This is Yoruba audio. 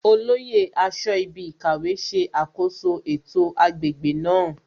Olóyè aṣọ́ibikàwé ṣe àkoso ètò agbègbè náà